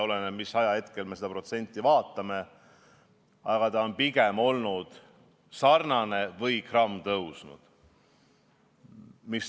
Oleneb, mis ajahetkest me seda protsenti vaatame, aga ta on pigem olnud sarnane või isegi grammikese tõusnud.